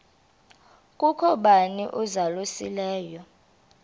kukho bani uzalusileyo